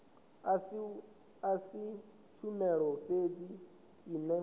a si tshumelo fhedzi ine